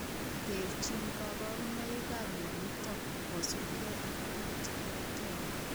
Terchin kaborunoikap mionitok kosubkei ak biik cheterter